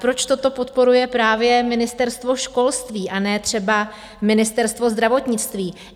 Proč toto podporuje právě Ministerstvo školství, a ne třeba Ministerstvo zdravotnictví?